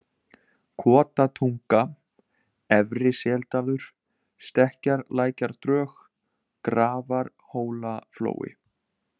Kotatunga, Efri-Seldalur, Stekkjarlækjardrög, Grafarhólaflói